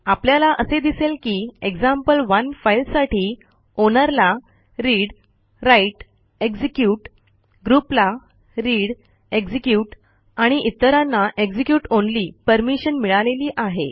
आपल्याला असे दिसेल की एक्झाम्पल1 फाईलसाठी आउनर ला readwriteएक्झिक्युट groupला readएक्झिक्युट आणि इतरांना execute ऑनली परमिशन मिळालेली आहे